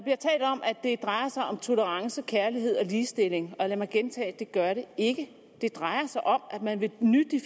om at det drejer sig om tolerance kærlighed og ligestilling og lad mig gentage det gør det ikke det drejer sig om at man vil